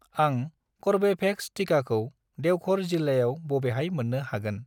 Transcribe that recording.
आं कर्वेभेक्स टिकाखौ देवघर जिल्लायाव बबेहाय मोन्नो हागोन?